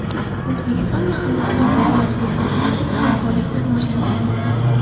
O‘zbekiston va Hindiston to‘qimachilik sohasidagi hamkorlikni rivojlantirmoqda.